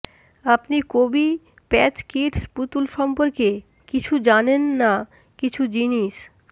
আপনি কোবি Patch Kids পুতুল সম্পর্কে কিছু জানেন না কিছু জিনিস